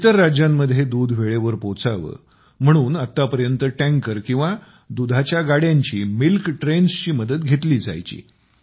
इतर राज्यांमध्ये दूध वेळेवर पोचावे म्हणून आतापर्यंत टँकर किंवा दुधाच्या गाड्यांची मिल्क ट्रेन्स ची मदत घेतली जायची